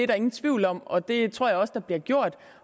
der ingen tvivl om og det tror jeg også bliver gjort